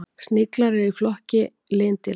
Sniglar eru í flokki lindýra.